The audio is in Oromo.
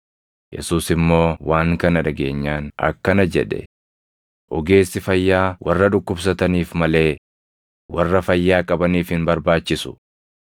Yesuus immoo waan kana dhageenyaan akkana jedhe; “Ogeessi fayyaa warra dhukkubsataniif malee warra fayyaa qabaniif hin barbaachisu.